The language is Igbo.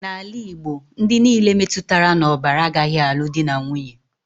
N'ala Igbo, ndị nile metụtara n'ọbara agaghị alụ dị na nwunye